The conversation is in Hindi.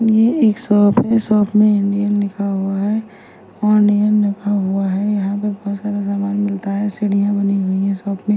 ये एक शॉप है शॉप में इंडियन लिखा हुआ हैं ऑनियन रखा हुआ हैं यहां पे बोहोत सारा सामान मिलता हैं सीढ़ियां बनी हुई है शॉप में।